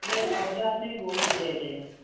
ସେ ସଜନାଛୁଇଁ ବହୁତ rate